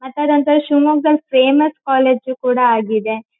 ಮತ್ ಅದೊಂಥರಾ ಶಿಮೊಗ್ಗದಲ್ಲಿ ಫೇಮಸ್ ಕಾಲೇಜ್ ಕೂಡ ಆಗಿದೆ.